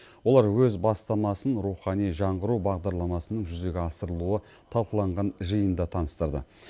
олар өз бастамасын рухани жаңғыру бағдарламасының жүзеге асырылуы талқыланған жиында таныстырды